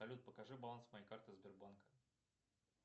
салют покажи баланс моей карты сбербанка